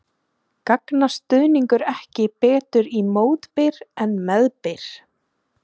Gagnast stuðningur ekki betur í mótbyr en meðbyr?